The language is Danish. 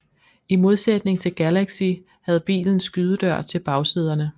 I modsætning til Galaxy havde bilen skydedør til bagsæderne